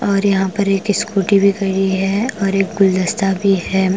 और यहां पर एक स्कूटी भी खरी है और एक गुलदस्ता भी है।